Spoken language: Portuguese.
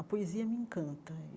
A poesia me encanta.